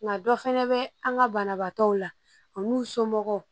Nka dɔ fɛnɛ bɛ an ka banabaatɔw la u n'u somɔgɔw